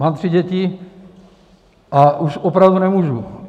Mám tři děti a už opravdu nemůžu.